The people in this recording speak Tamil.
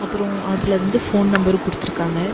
அப்புறோ அதுல வந்து ஃபோன் நம்பர் குடுத்திருக்காங்க.